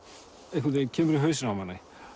einhvern veginn kemur í hausinn á manni